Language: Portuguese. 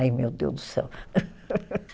Aí, meu Deus do céu.